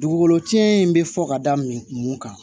Dugukolo cɛn in bɛ fɔ ka da min kun kan